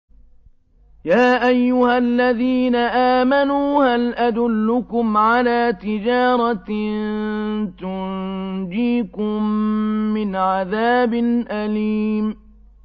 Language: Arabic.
يَا أَيُّهَا الَّذِينَ آمَنُوا هَلْ أَدُلُّكُمْ عَلَىٰ تِجَارَةٍ تُنجِيكُم مِّنْ عَذَابٍ أَلِيمٍ